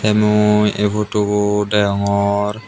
mui ei photo bu degongor.